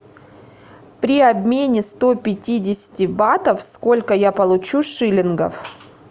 при обмене сто пятидесяти батов сколько я получу шиллингов